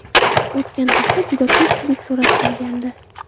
O‘tgan hafta juda ko‘pchilik so‘rab kelgandi.